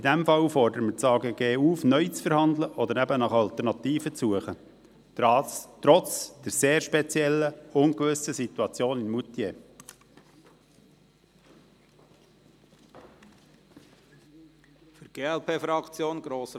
In diesem Fall aber fordern wir das Amt für Grundstücke und Gebäude (AGG) auf, neu zu verhandeln oder eben nach Alternativen zu suchen – trotz der sehr speziellen, ungewissen Situation in Moutier.